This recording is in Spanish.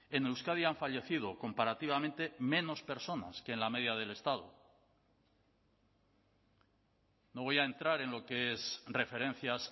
en euskadi han fallecido comparativamente menos personas que en la media del estado no voy a entrar en lo que es referencias